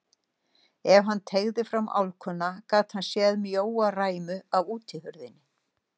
Ef hann teygði fram álkuna gat hann séð mjóa ræmu af útihurðinni.